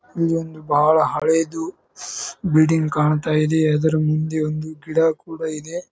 ಇಲ್ಲಿ ಒಂದು ಬಾಳ ಹಳೇದು ಬಿಲ್ಡಿಂಗ್ ಕಾಣ್ತಾ ಇದೆ ಅದರ ಮುಂದೆ ಒಂದು ಗಿಡ ಕೂಡ ಇದೆ.